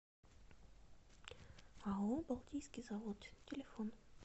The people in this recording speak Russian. ао балтийский завод телефон